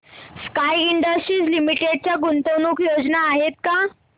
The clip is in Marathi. स्काय इंडस्ट्रीज लिमिटेड च्या गुंतवणूक योजना आहेत का